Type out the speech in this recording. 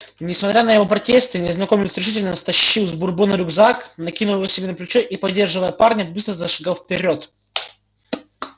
несмотря на его протесты незнакомец решительно стащил с бурбона рюкзак накинул его себе на плечо и поддерживая парня быстро зашагал вперёд